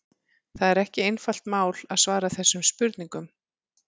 Það er ekki einfalt mál að svara þessum spurningum.